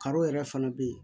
Karo yɛrɛ fana bɛ yen